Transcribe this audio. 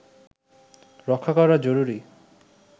রক্ষা করা জরুরি